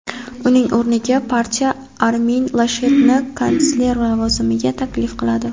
uning o‘rniga partiya Armin Lashetni kansler lavozimiga taklif qiladi.